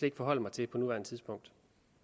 ikke forholde mig til på nuværende tidspunkt